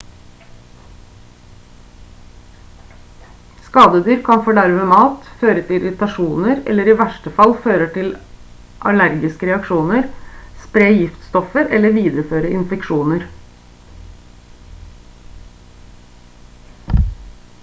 skadedyr kan forderve mat føre til irritasjoner eller i verste fall føre til allergiske reaksjoner spre giftstoffer eller videreføre infeksjoner